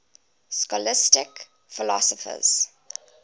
scholastic philosophers